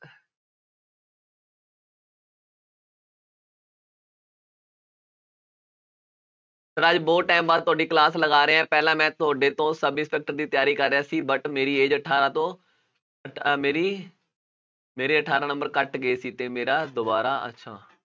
ਰਾਜੇ ਬਹੁਤ time ਬਾਅਦ ਤੁਹਾਡੀ class ਲਗਾ ਰਿਹਾਂ ਪਹਿਲਾਂ ਮੈਂ ਤੁਹਾਡੇ ਤੋਂ ਸਬ ਇੰਸਪੈਕਟਰ ਦੀ ਤਿਆਰੀ ਕਰ ਰਿਹਾ ਸੀ but ਮੇਰੀ age ਅਠਾਰਾਂ ਤੋਂ ਮੇਰੀ ਮੇਰੇ ਅਠਾਰਾਂ number ਘੱਟ ਗਏ ਸੀ ਤੇ ਮੇਰਾ ਦੁਬਾਰਾ ਅੱਛਾ